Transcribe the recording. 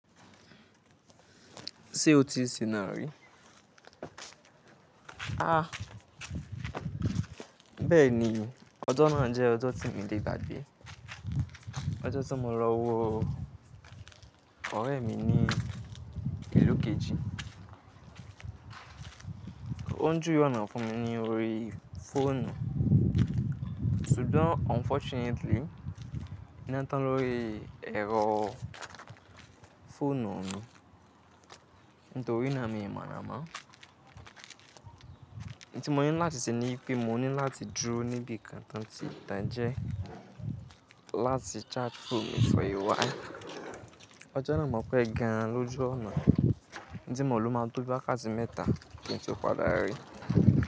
Ṣé o ti sí nari? Bẹ́ẹ̀ni, ọjọ́ náà jẹ́ ọjọ́ tí mi lé gba gbé. Ọjọ́ tí mo lọ wo ọ̀rẹ́ mi ní ìlú kejì. Ó ń jú we ọ̀nà fún mi ní orí fóònù. Sugbon unfortunately, iná tán lórí ẹ̀rọ fóònù mi. Nítorí náà mi mọ̀ ná mo. I wun tí mo ní láti se ní ipé mo ní láti dúró níbi kan tó tí tan gẹ́n láti charge fóònù mi for a while. Ọjọ́ náà mọ̀ pé gan lọju ọ̀nà. Ún tí mo ló máa tó bí wàkáti mẹ́ta kí n tó padà rí.